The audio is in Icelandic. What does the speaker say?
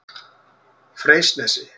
Freysnesi